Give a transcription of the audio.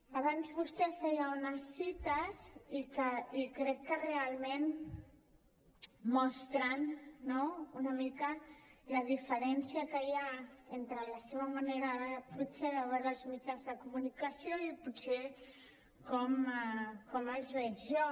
abans vostè feia unes cites i crec que realment mostren no una mica la diferència que hi ha entre la seva manera potser de veure els mitjans de comunicació i potser com els veig jo